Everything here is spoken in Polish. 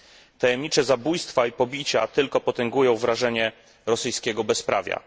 Tajemnicze zabójstwa i pobicia tylko potęgują wrażenie rosyjskiego bezprawia.